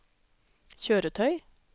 kjøretøy